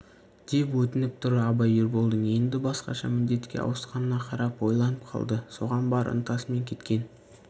деп өтініп тұр абай ерболдың енді басқаша міндетке ауысқанына қарап ойланып қалды соған бар ынтасымен кеткен